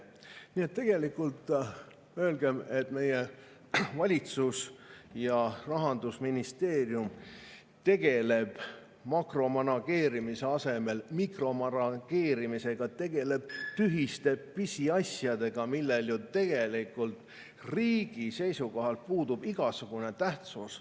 Nii et tegelikult öelgem, et meie valitsus ja Rahandusministeerium tegelevad makromanageerimise asemel mikromanageerimisega, tegelevad tühiste pisiasjadega, millel ju riigi seisukohalt puudub igasugune tähtsus.